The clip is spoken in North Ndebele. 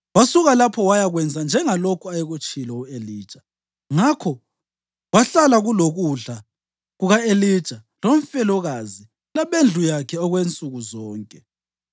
Wasuka lapho wayakwenza njengalokho ayekutshilo u-Elija. Ngakho kwahlala kulokudla kuka-Elija lomfelokazi labendlu yakhe okwensuku zonke.